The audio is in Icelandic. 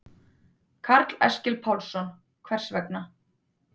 Karl Eskil Pálsson: Hvers vegna?